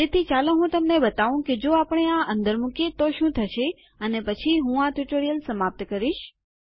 તેથી ચાલો હું તમને બતાવું કે જો આપણે આ અંદર મુકીએ તો શું થશે અને પછી હું આ ટ્યુટોરીયલ સમાપ્ત કરીશું